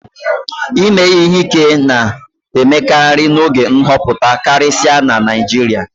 ime ihe ike na-emekarị n'oge nhọpụta karịsịa na Naijiria